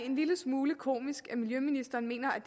en lille smule komisk når miljøministeren mener at